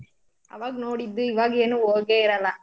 ಅವಾಗ್ ನೋಡಿದ್ದು ಈವಾಗೇನು ಹೋಗೆ ಇರಲ್ಲ.